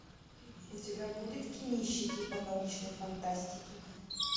у тебя будет кинище типа научной фантастики